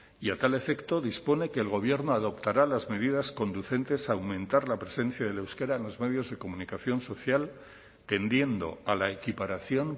y a tal efecto dispone que el gobierno adoptará las medidas conducentes a aumentar la presencia del euskera en los medios de comunicación social tendiendo a la equiparación